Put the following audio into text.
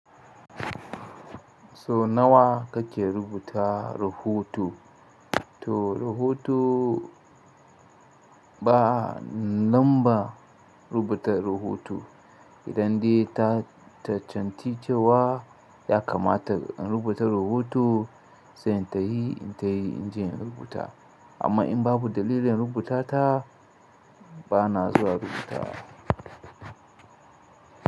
Sau nawa kake rubuta rahoto? To rahoto ba nomba rubuta rahoto. Idan dai ta cancanci cewa ya kamata in rubuta rahoto, sai in tahi in tai in je in rubuta. Amma in babu dalilin rubuta ta, bana zuwa rubutawa.